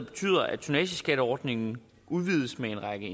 betyder at tonnageskatteordningen udvides med en række